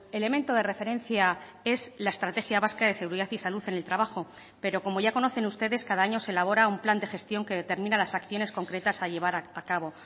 elemento de referencia es la estrategia vasca de seguridad y salud en el trabajo pero como ya conocen ustedes cada año se elabora un plan de gestión que determina las acciones concretas a llevar a cabo